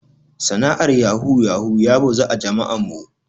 Sana'ar yahu yahu ya bazu a jama'an mu.